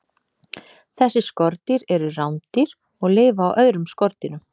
Þessi skordýr eru rándýr og lifa á öðrum skordýrum.